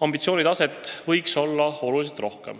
ambitsioonitase võiks olla oluliselt kõrgem.